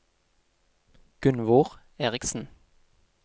Gunvor Eriksen